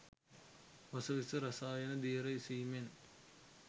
වස විස රසායන දියර ඉසීමෙන්